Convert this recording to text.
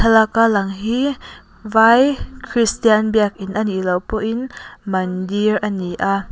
thlalaka lang hi vai kristian biakin a nih loh pawhin mandir ani a.